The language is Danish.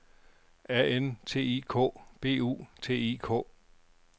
A N T I K B U T I K